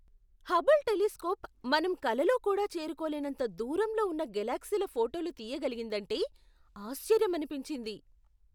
Hubble telescope మనం కలలో కూడా చేరుకోలేనంత దూరంలో ఉన్న గెలాక్సీల ఫోటోలు తియ్యగలిగిందంటే ఆశ్చర్యమనిపించింది!